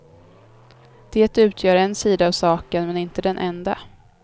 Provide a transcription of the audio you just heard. Det utgör en sida av saken, men inte den enda.